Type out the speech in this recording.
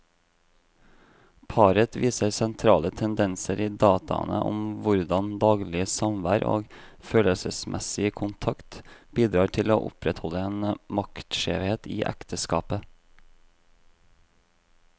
Paret viser sentrale tendenser i dataene om hvordan daglig samvær og følelsesmessig kontakt bidrar til å opprettholde en maktskjevhet i ekteskapet.